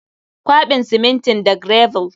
Kwaɓa simintin da gravel.